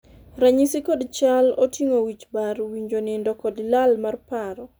ranyisi kod chal oting'o wich bar, winjo nindo kod lal mar paro